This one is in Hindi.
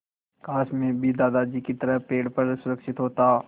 काश मैं भी दादाजी की तरह पेड़ पर सुरक्षित होता